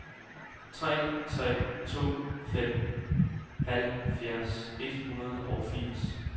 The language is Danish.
tre tre to fem halvtreds et hundrede og firs